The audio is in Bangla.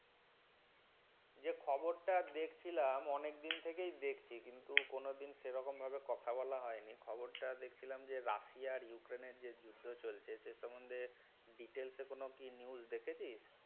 যে খবরটা দেখছিলাম, অনেকদিন থেকেই দেখছি কিন্তু কোন দিন সেরকম ভাবে কথা বলা হয়নি। খবরটা দেখছিলাম যে রাশিয়া উক্রেনের যে যুদ্ধ চলছে সে সমন্ধে details কোনও কি news দেখেছিস?